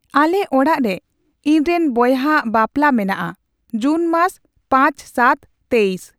ᱟᱞᱮ ᱚᱲᱟᱜ ᱨᱮ ᱤᱧᱨᱮᱱ ᱵᱚᱭᱦᱟᱣᱟᱜ ᱵᱟᱯᱞᱟ ᱢᱮᱱᱟᱜᱼᱟ ᱡᱩᱱᱢᱟᱥ ᱯᱟᱸᱪ ᱥᱟᱛ ᱛᱮᱭᱤᱥ